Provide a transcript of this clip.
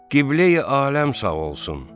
Qibləyi aləm sağ olsun.